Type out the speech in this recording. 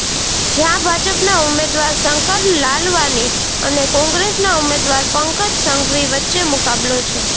જ્યાં ભાજપના ઉમેદવાર શંકર લાલવાની અને કોંગ્રેસના ઉમેદવાર પંકજ સંઘવી વચ્ચે મુકાબલો છે